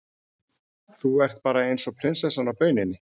Þú ert bara eins og prinsessan á bauninni!